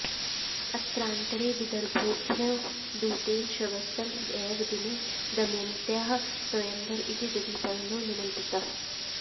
अत्रान्तरे विदर्भेभ्यो दूतेन श्वस्तन एव दिने दमयन्त्याः स्वयंवर इति दधिपर्णो निमन्त्रितः